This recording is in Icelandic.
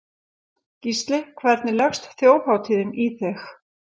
Gísli: Hvernig leggst Þjóðhátíðin í þig?